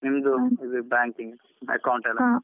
ನಿಮ್ದು banking account ಎಲ್ಲ.